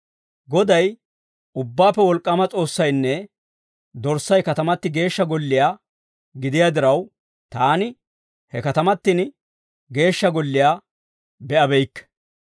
Goday, Ubbaappe Wolk'k'aama S'oossaynne Dorssay katamati Geeshsha Golliyaa gidiyaa diraw, taani he katamatin Geeshsha Golliyaa be'abeykke.